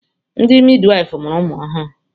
Ndị midwaịfụ mụrụ ụmụ ọhụrụ.